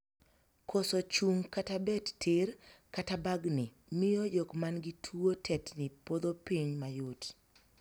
Koso chung' kata bet tir, kata bagni, miyo jok man gi tuo tetni podho piny mayot.